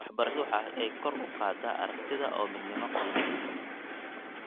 Waxbarashadu waxa ay kor u qaadaa aragtida oo midnimo qiimeeya.